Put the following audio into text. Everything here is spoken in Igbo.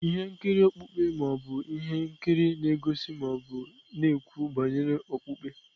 Ihe nkiri okpukpe ma ọ bụ ihe nkiri na-egosi ma ọ bụ na-ekwu banyere okpukpe.